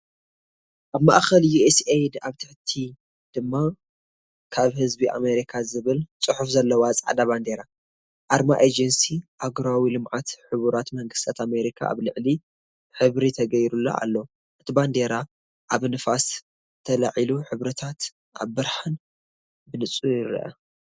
ኣብ ማእከል ዩኤስኤይድ’ ኣብ ታሕቲ ድማ ካብ ህዝቢ ኣመሪካ’ ዝብል ጽሑፍ ዘለዋ ጻዕዳ ባንዴራ። ኣርማ ኤጀንሲ ኣህጉራዊ ልምዓት ሕቡራት መንግስታት ኣመሪካ ኣብ ላዕሊ ሕብሪ ተገይሩሉ ኣሎ። እቲ ባንዴራ ኣብ ንፋስ ተላዒላ ሕብርታታ ኣብ ብርሃን ብንጹር ይርአ።